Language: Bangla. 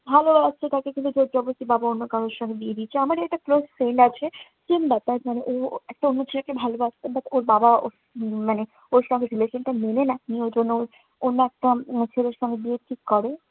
ভালো লাগছে কাউকে কিন্তু জোর-জবরদস্তি বাবা অন্য কারো সঙ্গে বিয়ে দিয়েছে। আমার এক close friend আছে। কিংবা তার family ও~ ও একটা অন্য ছেলেকে ভালোবাসতো but ওর বাবা উহ উম মানে ওর সঙ্গে relation টা মেনে নেয়নি। ওজন্য অন্য একটা হম ছেলের সঙ্গে বিয়ে ঠিক করে।